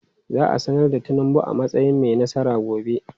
Za a sanar da Tinubu a matsayin mai nasara gobe.